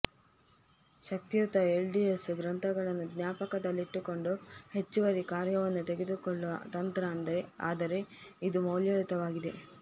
ಶಕ್ತಿಯುತ ಎಲ್ಡಿಎಸ್ ಗ್ರಂಥಗಳನ್ನು ಜ್ಞಾಪಕದಲ್ಲಿಟ್ಟುಕೊಳ್ಳುವುದು ಹೆಚ್ಚುವರಿ ಕಾರ್ಯವನ್ನು ತೆಗೆದುಕೊಳ್ಳುವ ತಂತ್ರ ಆದರೆ ಇದು ಮೌಲ್ಯಯುತವಾಗಿದೆ